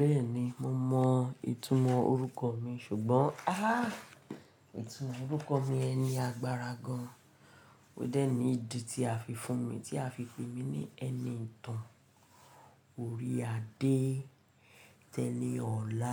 Bẹ́ẹ̀ni, mo mọ ìtumọ̀ orúkọ mi ṣùgbọ́n, ah, ìtumọ̀ orúkọ mi ẹni agbára gan. Ó dẹ̀ ní ìdí tí a fi fún mi, tí a fi pè mí ní ẹni ìtàn. Orí Adé tẹ̀ni ọ̀la.